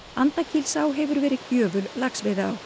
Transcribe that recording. Andakílsá hefur verið gjöful laxveiðiá